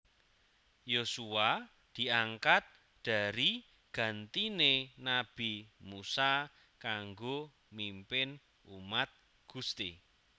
Yosua diangkat dari gantiné nabi Musa kanggo mimpin umat Gusti